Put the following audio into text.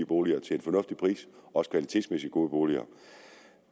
boliger til en fornuftig pris også kvalitetsmæssigt gode boliger